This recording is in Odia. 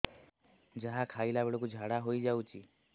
ଯାହା ଖାଇଲା ବେଳକୁ ଝାଡ଼ା ହୋଇ ଯାଉଛି